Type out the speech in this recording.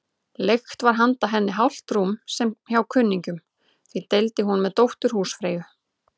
Leigt var handa henni hálft rúm hjá kunningjum, því deildi hún með dóttur húsfreyju.